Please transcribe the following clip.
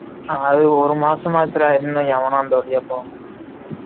அது ஒரு மாசம் ஆச்சு டா இன்னும் எவனும் அந்த வழியா போக முடியல